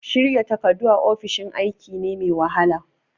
Shirya takardu a ofishin aiki ne mai wahala.